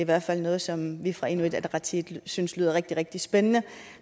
hvert fald noget som vi fra inuit ataqatigiits side synes lyder rigtig rigtig spændende